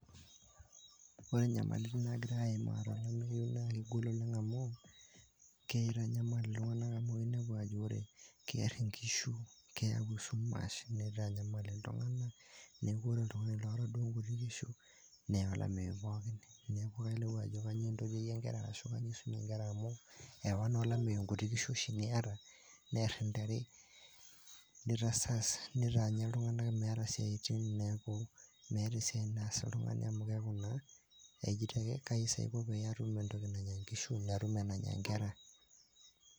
Ore enyamal kitanyamal il`tung'anak amu inepu ajo keer inkishu, neyau esumash nitanyamal il`tung'anak, neeku ore oltung'ani oota duo inkuti kishu, neer olameyu pookin. Neaku ilayu ajo kanyio iltotioyie inkera arashu kanyio eisumieki inkera amu eewa naa olameyu inkishu oshi niyata, neer intare, nitasas, nitaa iltung'anak metaa meeta isiaitin nilau entoki nanya inkishu o nkera